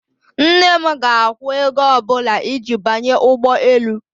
Nne m ga-akwụ ego ọ bụla iji banye ụgbọ elu.